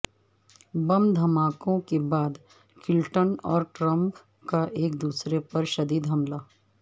بم دھماکوں کے بعد کلنٹن اور ٹرمپ کا ایک دوسرے پر شدید حملہ